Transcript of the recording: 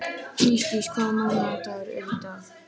Ísdís, hvaða mánaðardagur er í dag?